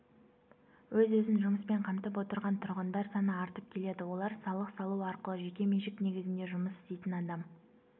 өз-өзін жұмыспен қамтып отырған тұрғындар саны артып келеді олар салық салу арқылы жеке меншік негізінде жұмыс істейтін адам